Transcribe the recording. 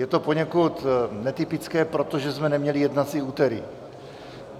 Je to poněkud netypické, protože jsme neměli jednací úterý.